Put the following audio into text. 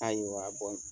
Ayiwa